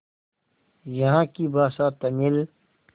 यहाँ की भाषा तमिल